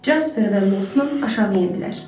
Jaspar və Losman aşağı endilər.